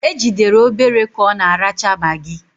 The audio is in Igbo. Ejidere Obere ka ọ na-aracha magị.